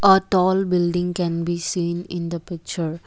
a tall building can be seen in the picture.